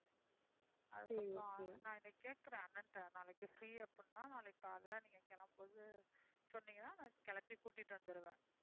அதுக்கப்புறம் நான் இன்னைக்கு கேட்கிறேன் அண்ணன்ட்ட நாளைக்கு free அப்படின்னா நாளைக்கு காலையில நீங்கக் கிளம்பும்போது சொன்னீங்கன்னா நான் கிளப்பி கூட்டிட்டு வந்துருவேன்.